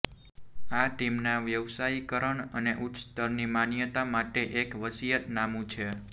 આ ટીમના વ્યાવસાયીકરણ અને ઉચ્ચ સ્તરની માન્યતા માટે એક વસિયતનામું છે